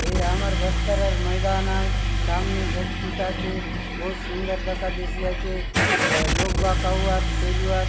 ये आमर बस्तर र मैदान आय सामने गछ खुट आचे बहुत सुन्दर दखा देयसि आचे लोग बाग आउआत खेलुआत --